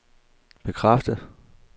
bekræfter